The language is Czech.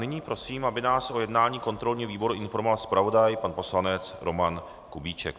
Nyní prosím, aby nás o jednání kontrolního výboru informoval zpravodaj pan poslanec Roman Kubíček.